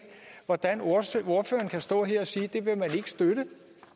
hvordan ordføreren kan stå her og sige at det vil man ikke støtte